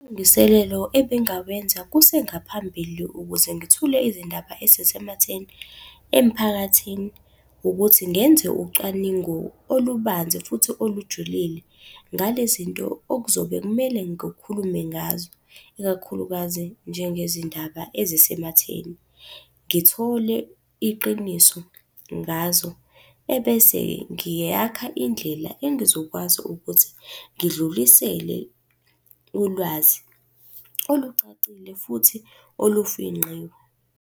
ebengingawenza kusengaphambili ukuze ngithule izindaba ezisematheni emphakathini, ukuthi ngenze ucwaningo olubanzi futhi olujulile ngale zinto okuzobe kumele ngikhulume ngazo. Ikakhulukazi njengezindaba ezisematheni. Ngithole iqiniso ngazo, ebese-ke ngiyakha indlela engizokwazi ukuthi ngidlulisele ulwazi olucacile futhi olufingqiwe.